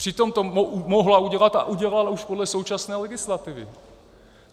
Přitom to mohla udělat a udělala už podle současné legislativy.